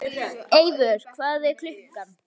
Eivör, hvað er klukkan?